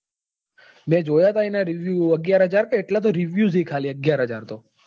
મેં જોયા હતા એના review અગ્યાર હાજર કે એટલા તો એના review જ છે. ખાલી અગ્યાર હાજર તો